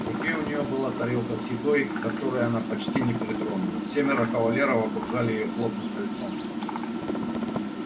в руке у нее была тарелка с едой к которой она почти не притронулась семеро кавалеров окружали её плотным кольцом